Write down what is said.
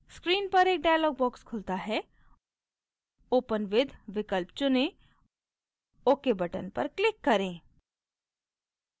screen पर एक dialog box खुलता है open with विकल्प चुनें ok button पर click करें